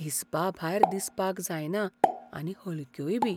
हिसपाभायर दिसपाक जायना आनी हलक्योयबी.